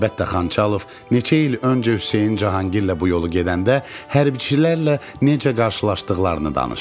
Əlbəttə Xançalov neçə il öncə Hüseyn Cahangirlə bu yolu gedəndə hərbçilərlə necə qarşılaşdıqlarını danışdı.